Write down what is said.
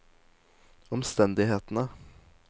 omstendighetene